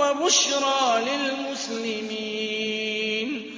وَبُشْرَىٰ لِلْمُسْلِمِينَ